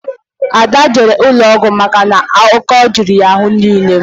Adakụ jere ụlọọgwụ maka na ọ́kọ́ juru ya n'ahụ niile